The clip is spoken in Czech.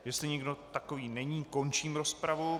Jestli nikdo takový není, končím rozpravu.